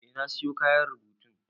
Eh na siyo kayan rubutun.